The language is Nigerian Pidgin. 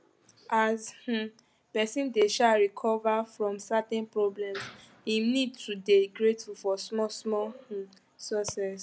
as um person dey um recover from certain problems im need to dey grateful for small small um success